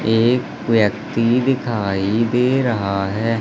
एक व्यक्ति दिखाई दे रहा है।